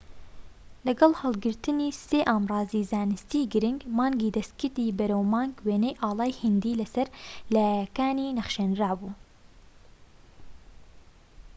لەگەڵ هەلگرتنی سێ ئامڕازیی زانستیی گرنگ مانگی دەستکردی بەرەو مانگ وێنەی ئاڵای هیندی لەسەر لایەکانی نەخشێنرابوو